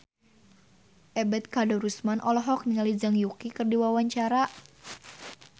Ebet Kadarusman olohok ningali Zhang Yuqi keur diwawancara